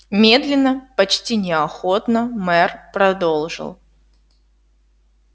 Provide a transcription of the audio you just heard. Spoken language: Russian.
медленно почти неохотно мэр продолжил